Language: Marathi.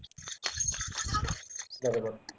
बरोबर